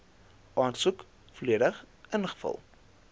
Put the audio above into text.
aansoek volledig ingevul